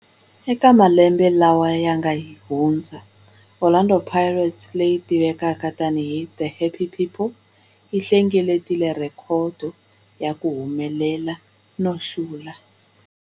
Eka malembe lawa yanga hundza, Orlando Pirates, leyi tivekaka tani hi 'The Happy People', yi hlengeletile rhekhodo ya ku humelela no hlula.